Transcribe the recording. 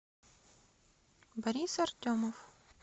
борис артемов